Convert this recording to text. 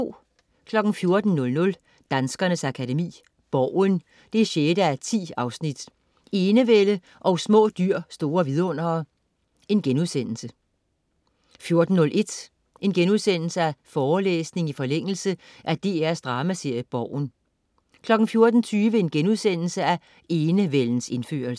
14.00 Danskernes Akademi: Borgen 6:10, Enevælde & Små dyr, store vidundere* 14.01 Forelæsning i forlængelse af DR's dramaserie "Borgen"* 14.20 Enevældens indførelse*